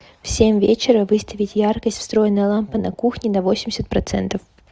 в семь вечера выставить яркость встроенная лампа на кухне на восемьдесят процентов